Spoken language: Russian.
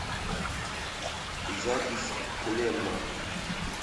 запись клемма